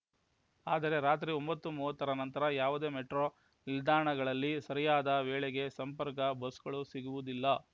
ಆದರೆ ರಾತ್ರಿ ಒಂಬತ್ತು ಮೂವತ್ತರ ನಂತರ ಯಾವುದೇ ಮೆಟ್ರೋ ನಿಲ್ದಾಣಗಳಲ್ಲಿ ಸರಿಯಾದ ವೇಳೆಗೆ ಸಂಪರ್ಕ ಬಸ್‌ಗಳು ಸಿಗುವುದಿಲ್ಲ